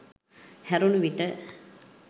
හැරුණු විට